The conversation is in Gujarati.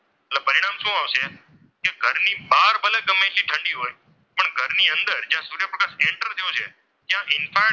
જ્યાં ઇન્ફ્રારેડ,